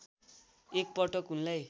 एक पटक उनलाई